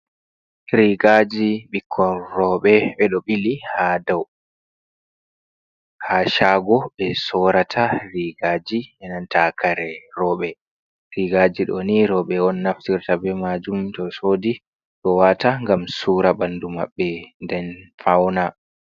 Rigaji ɓikkoi roɓɓe ɗeɗo ɓili ha daw, ha shago ɓe sorata rigaji ananta kare roɓɓe rigaji ɗo ni roɓɓe on naftirta be majum to sodi ɗo wata gam sura ɓandu maɓɓe den fauna.